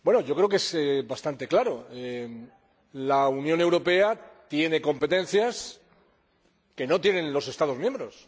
Creo que es bastante claro la Unión Europea tiene competencias que no tienen los Estados miembros.